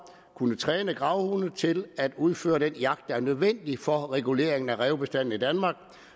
kunne træne gravhunde til at udføre den jagt der er nødvendig for reguleringen af rævebestanden i danmark